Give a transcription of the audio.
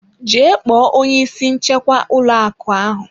Jee kpọọ onye isi nchekwa ụlọ akụ ahụ.